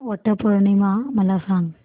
वट पौर्णिमा मला सांग